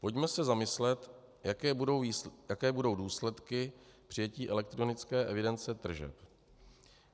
Pojďme se zamyslet, jaké budou důsledky přijetí elektronické evidence tržeb.